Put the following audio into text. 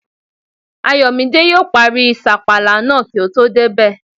Ayọ̀mídé yóò parí sàpàlà náà kí o tó débẹ̀